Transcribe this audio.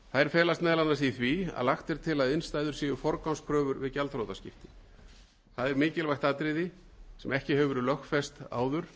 felast meðal annars í því að lagt er til að innstæður séu forgangskröfur við gjaldþrotaskipti það er mikilvægt atriði sem ekki hefur verið lögfest